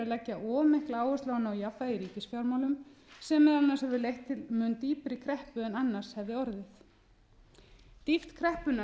leggja of mikla áherslu á að ná jafnvægi í ríkisfjármálum sem meðal annars hefur leitt til mun dýpri kreppu en annars hefði orðið dýpt kreppunnar